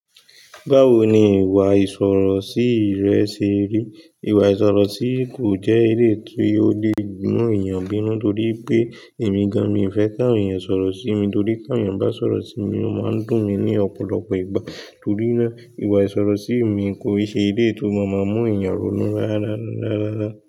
Báwo ni ìwà ìsọ̀rọ̀ sí rẹ ṣe rí? Ìwà ìsọ̀rọ̀ sí kò jẹ́ eleyii tí ó lè mú èèyàn bínú torí pé èmi gan, mi ò fẹ́ kí awon èèyàn sọ̀rọ̀ sí mi torí ti awon èèyàn bá sọ̀rọ̀ sí mi, ó máa ń dùn mí ní ọ̀pọ̀lọpọ̀ ìgbà torí náà, ìwà ìsọ̀rọ̀ sí mi kò ṣe eleyii tó máa ń mú èèyàn ronú dáradára.